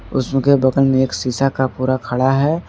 उसके बगल में एक शीशा का पूरा खड़ा है।